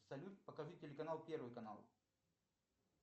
салют покажи телеканал первый канал